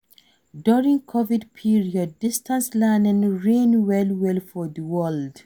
During Covid period, distance learning reign well well for di world